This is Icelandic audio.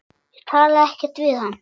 Ég talaði ekkert við hann.